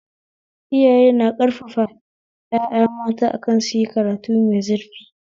Iyaye na ƙarfafa ƴaƴa mata akan suyi karatu mai zurfi